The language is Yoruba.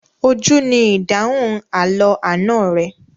Ojú ni ìdáhùn àlọ́ àná rẹ.